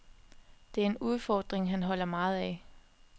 Det er en udfordring, han holder meget af.